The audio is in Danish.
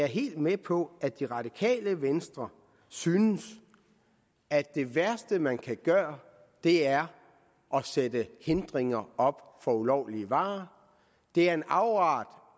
helt med på at det radikale venstre synes at det værste man kan gøre er at sætte hindringer op for ulovlige varer det er en afart